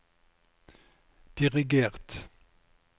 dirigert